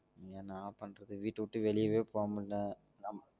என்னா பன்றது வீட்ட விட்டு வெளியவே போ முடியல